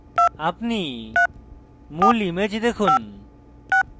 আপনি মূল image দেখুন